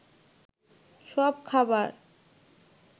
সব খাবার